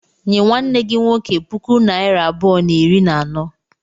Nye nwanne gi nwoke puku naịra abụọ na iri na anọ.